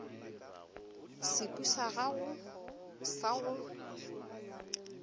seko sa gago sa go